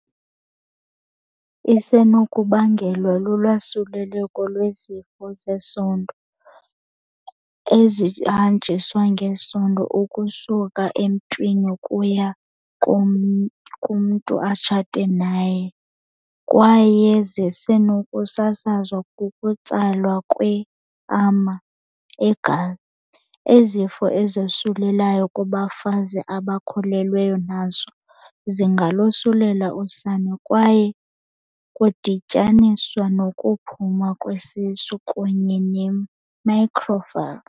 Isenokubangelwa lulwasuleleko lwezifo zesondo ezihanjiswa ngesondo ukusuka emntwini ukuya kumntu atshate naye kwaye zisenokusasazwa kukutsalwa kwe, ama, egazi. Izifo ezosulelayo kubafazi abakhululweyo nazo zingalosulela usana kwaye kudityaniswa nokuphuma kwesisu kunye ne-microcephaly.